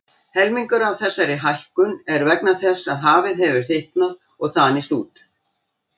Helmingur af þessari hækkun er vegna þess að hafið hefur hitnað og þanist út.